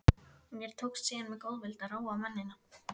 Mér tókst síðan með góðvild að róa mennina.